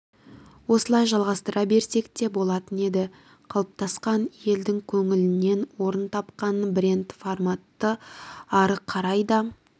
осылай жалғастыра берсек те болатын еді қалыптасқан елдің көңілінен орын тапқан бренд форматты ары қарай да